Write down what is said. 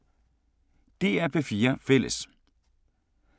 DR P4 Fælles